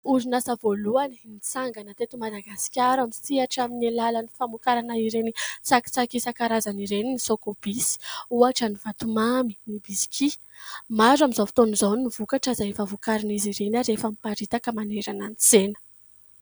Orinasa voalohany nitsangana tety Madagasikara misehatra amin'ny alalan'ny famokarana ireny tsakitsaky isankarazan' ireny ny "Socobis" ohatra ny vatomamy, ny bisikia. Maro amin'izao fotoan'izao ny vokatra izay efa vokarin'izy ireny ary efa miparitaka manerana ny tsena.